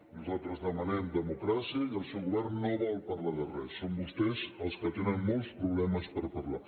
nosaltres demanem democràcia i el seu govern no vol parlar de res són vostès els que tenen molts problemes per parlar